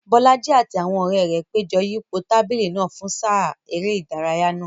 Bolaji àti àwọn ọ̀rẹ́ rẹ̀ péjọ yípo tábìlì náà fún sáà eré ìdárayá náà.